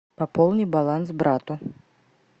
пополни баланс брату